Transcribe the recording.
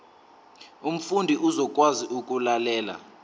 umfundi uzokwazi ukulalela